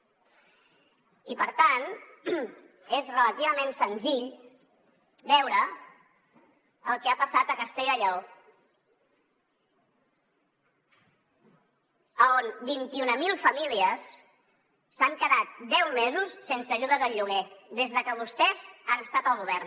i per tant és relativament senzill veure el que ha passat a castella i lleó on vint mil famílies s’han quedat deu mesos sense ajudes al lloguer des de que vostès han estat al govern